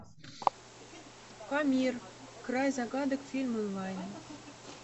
памир край загадок фильм онлайн